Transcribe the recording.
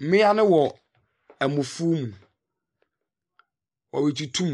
Mmia no wɔ ɛmo fu mu ɔretutum.